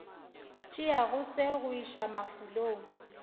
tšeago se go iša mafulong